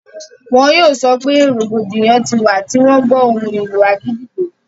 wọn yóò sọpẹ́ rògbòdìyàn ti wà tí wọ́n gbọ́ ohùn ìlù àgídìgbo.